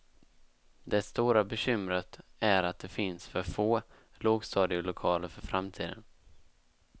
Det stora bekymret är att det finns för få lågstadielokaler för framtiden.